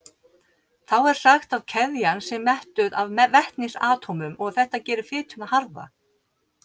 Þá er sagt að keðjan sé mettuð af vetnisatómum og þetta gerir fituna harða.